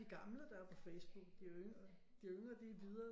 De gamle der er på Facebook de yngre de er videre